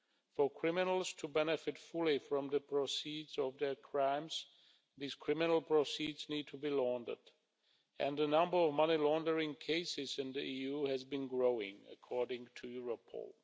For criminals to benefit fully from the proceeds of their crimes, these criminal proceeds need to be laundered and the number of money laundering cases in the EU has been growing, according to Europol.